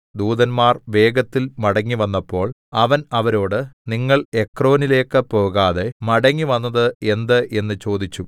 ദൂതന്മാർ വേഗത്തിൽ മടങ്ങിവന്നപ്പോൾ അവൻ അവരോട് നിങ്ങൾ എക്രോനിലേക്ക് പോകാതെ മടങ്ങിവന്നത് എന്ത് എന്ന് ചോദിച്ചു